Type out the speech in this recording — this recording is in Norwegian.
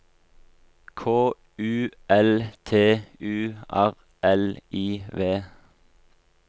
K U L T U R L I V